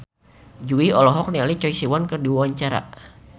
Jui olohok ningali Choi Siwon keur diwawancara